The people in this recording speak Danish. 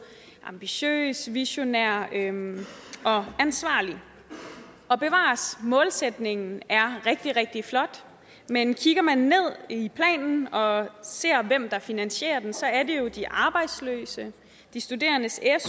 ambitiøs visionær og ansvarlig og bevares målsætningen er rigtig rigtig flot men kigger man ned i planen og ser hvem der finansierer den så er det jo de arbejdsløse de studerendes